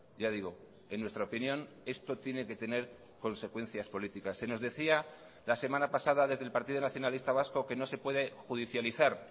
ya digo en nuestra opinión esto tiene que tener consecuencias políticas se nos decía la semana pasada desde el partido nacionalista vasco que no se puede judicializar